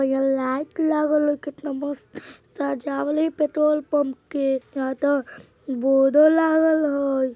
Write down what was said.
यहाँ लाइट लागल है केतना मस्त सजावल है अभी पेट्रोल पम्प के यहाँ तअ बोडो लागल हय।